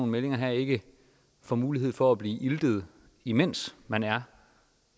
meldinger ikke får mulighed for at blive iltet imens man er